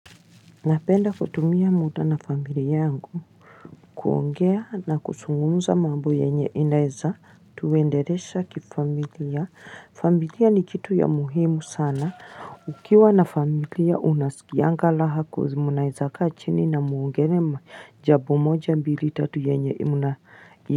Napenda kutumia muda na familia yangu kuongea na kuzungumza mambo yenye inaweza tuwendelesha kifamilia, familia ni kitu ya muhimu sana ukiwa na familia unasikianga raha cause mnaweza kaa chini na muongelee jambo moja mbili tatu yenye.